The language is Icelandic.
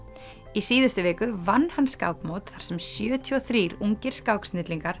í síðustu viku vann hann skákmót þar sem sjötíu og þrír ungir